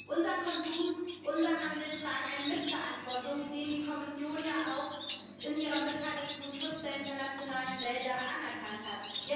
Unser Konsum, unser Handel tragen eine Mitverantwortung, die die Kommission in ihrer Mitteilung zum Schutz der internationalen Wälder ja auch anerkannt hat.